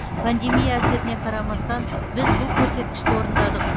пандемия әсеріне қарамастан біз бұл көрсеткішті орындадық